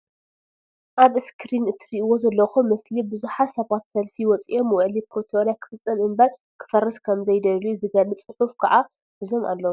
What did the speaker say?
ኣብ እስክሪን እትሪእዎ ዘለኩም ምስሊ ብዙሓት ሰባት ሰልፊ ወፂኦም ዉዕሊ ፕሪቶርያ ክፍፀም እንበር ክፈርስ ከም ዘይደልዩ ዝገልፅ ፅሑፍ ከዓ ሒዞም ኣለዉ